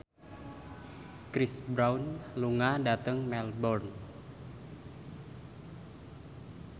Chris Brown lunga dhateng Melbourne